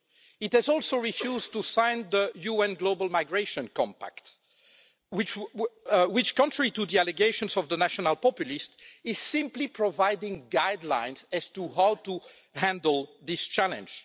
It has also refused to sign the UN Global Migration Compact, which, contrary to the allegations of the national populists, is simply providing guidelines as to how to handle this challenge.